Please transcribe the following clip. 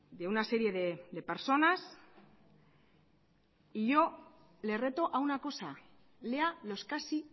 de una serie de personas y yo le reto a una cosa lea los casi